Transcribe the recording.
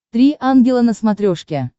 три ангела на смотрешке